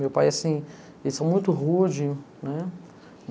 Meu pai, assim, eles são muito rude, né?